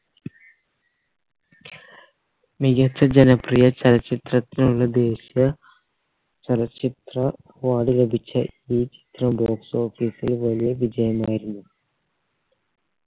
മികച്ച ജനപ്രിയ ചലച്ചിത്രത്തിനുള്ള ദേശീയ ചലച്ചിത്ര award ലഭിച്ച ഈ ചിത്രം box office ൽ വലിയ വിജയമായിരുന്നു